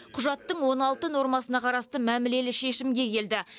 құжаттың он алты нормасына қарасты мәмілелі шешімге келді